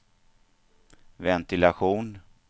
ventilation